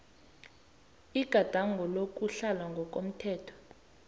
igadango lokutlhala ngokomthetho